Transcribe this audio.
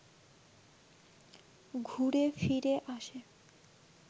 ঘুরে-ফিরে আসে